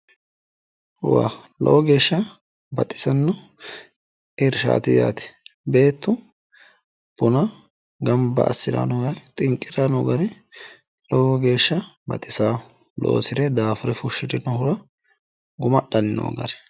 Lowo geeshsha baxisanno irshaati yaate. Beettu buna gamba assiranni noo xinqqiranni noo gari lowo geeshsha baxisanno. Loosire daafure fushshirinohura guma adhanni noo gari.